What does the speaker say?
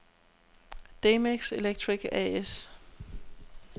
Demex Electric A/S